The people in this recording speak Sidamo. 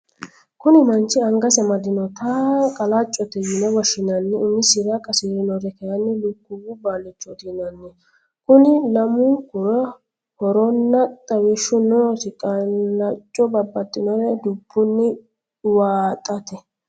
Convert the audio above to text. Kuni manchi angasi amadinotta qalacote yine woshinanni umisira qasirinore kayini lukuwu baalichoti yinanni koni lamu'nkura horonna xawishu noosi, qalacco babaxinore dubuni uvaaxate